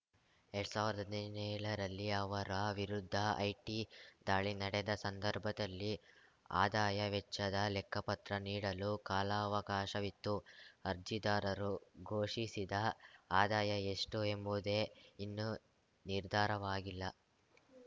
ಎರಡ್ ಸಾವಿರ್ದ್ ಹದಿನೇಳರಲ್ಲಿ ಅವರ ವಿರುದ್ಧ ಐಟಿದಾಳಿ ನಡೆದ ಸಂದರ್ಭದಲ್ಲಿ ಆದಾಯ ವೆಚ್ಚದ ಲೆಕ್ಕಪತ್ರ ನೀಡಲು ಕಾಲಾವಕಾಶವಿತ್ತು ಅರ್ಜಿದಾರರು ಘೋಷಿಸಿದ ಆದಾಯ ಎಷ್ಟುಎಂಬುವುದೇ ಇನ್ನೂ ನಿರ್ಧಾರವಾಗಿಲ್ಲ